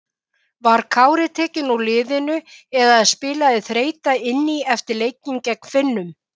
Var Kári tekinn út úr liðinu eða spilaði þreyta inn í eftir leikinn gegn Finnum?